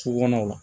Su kɔnɔ